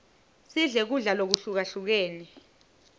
sidle kudla lokuhlukahlukene